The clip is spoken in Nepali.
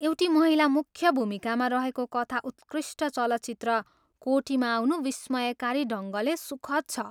एउटी महिला मुख्य भूमिकामा रहेको कथा उत्कृष्ट चलचित्र कोटीमा आउनु विस्मयकारी ढङ्गले सुखद छ।